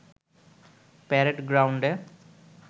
parade গ্রাউন্ডে